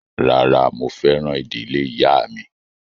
Rárá, mo fẹ́ràn ìdílé ìyáà mi